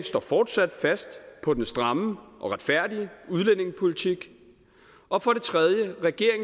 fortsat fast på den stramme og retfærdige udlændingepolitik og for det tredje